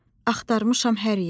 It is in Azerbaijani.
Axtarmışam hər yeri.